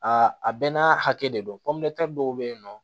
Aa a bɛɛ n'a hakɛ de don dɔw bɛ yen nɔ